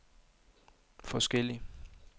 forskellig